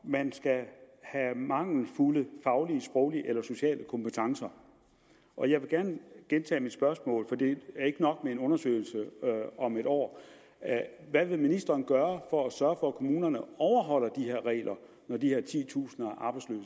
man skal have mangelfulde faglige sproglige eller sociale kompetencer og jeg vil gerne gentage mit spørgsmål for det er ikke nok med en undersøgelse om et år hvad vil ministeren gøre for at sørge for at kommunerne overholder de regler når de her titusinder